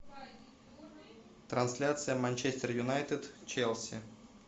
трансляция манчестер юнайтед челси